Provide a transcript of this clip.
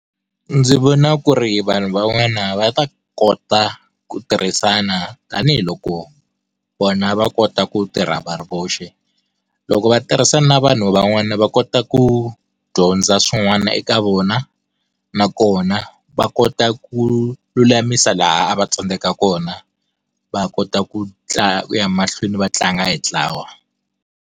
Ndzi vona ku ri vanhu van'wana va ta kota ku tirhisana tanihiloko, vona va kota ku tirha va ri voxe. Loko va tirhisana na vanhu van'wana va kota ku, dyondza swin'wana eka vona, nakona va kota ku lulamisa laha a va tsandzeka kona, va kota ku ku ya mahlweni va tlanga hi ntlawa.